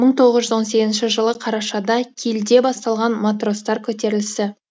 мың тоғыз жүз он сегізінші жылы қарашада кильде басталған матростар көтерілісі